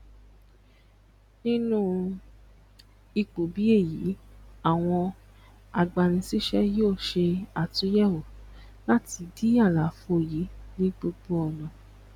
nínu ipò bí èyí àwọn agbanisíṣé yóò ṣe àtuyèwò láti dí àlàfò yìí ní gbogbo ònà